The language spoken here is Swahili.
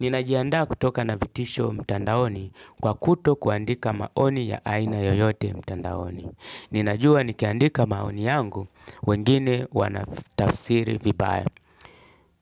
Ninajianda kutoka na vitisho mtandaoni kwa kutokuandika maoni ya aina yoyote mtandaoni. Ninajua nikiandika maoni yangu, wengine wana tafsiri vibaya.